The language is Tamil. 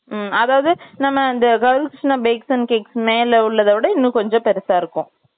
ம், அதாவது, நம்ம, GowriKrishna bakes and cakes மேல உள்ளத விட, இன்னும், கொஞ்சம் பெருசா இருக்கும்